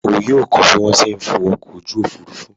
O yoo ko bi lati fo a ofurufu!